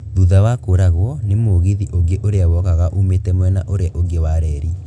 Thutha wa kũragwo ni mũgithi ũngĩ ũria wokaga umĩte mwena ũrĩa ũngĩ wa reri